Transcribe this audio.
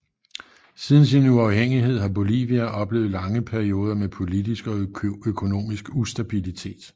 Siden sin uafhængighed har Bolivia oplevet lange perioder med politisk og økonomisk ustabilitet